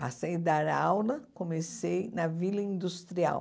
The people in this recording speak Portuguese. Passei a dar aula, comecei na Vila Industrial.